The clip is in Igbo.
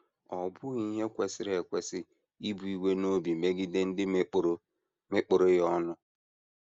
Ọ́ bụghị ihe kwesịrị ekwesị ibu iwe n’obi megide ndị mekpọrọ mekpọrọ ya ọnụ?